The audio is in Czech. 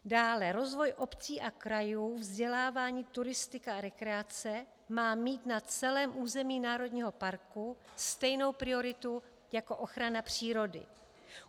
Dále rozvoj obcí a krajů, vzdělávání, turistika a rekreace má mít na celém území národního parku stejnou prioritu jako ochrana přírody.